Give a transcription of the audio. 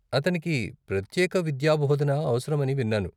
అతనికి ప్రత్యేక విద్యాబోధన అవసరం అని విన్నాను.